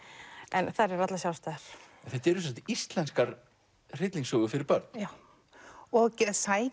en þær eru allar sjálfstæðar þetta eru sem sagt íslenskar hryllingssögur fyrir börn já og sækja